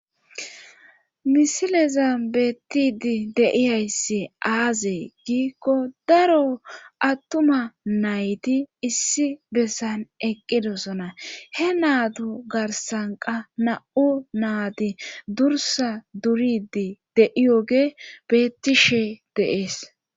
Misileza beettidi de'iyaysse aazee giikko daro attuma nayti issi bessan eqqidosona. he naattu garsankka na'u naati dursa duridi de'iyoge bettishe deees.